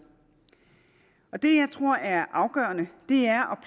det jeg tror er afgørende er